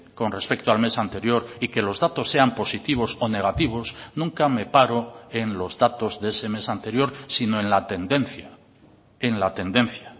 con respecto al mes anterior y que los datos sean positivos o negativos nunca me paro en los datos de ese mes anterior sino en la tendencia en la tendencia